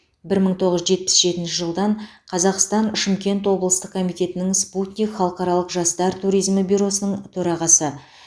бір мың тоғыз жүз жетпіс жетінші жылдан қазақстан шымкент облыстық комитетінің спутник халықаралық жастар туризмі бюросының төрағасы